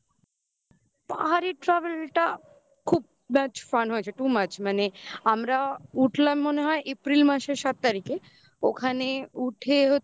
পাহাড়ের travel টা খুব much fun হয়েছে. too much মানে আমরা উঠলাম মনে হয় April মাসের সাত তারিখে ওখানে উঠে হচ্ছে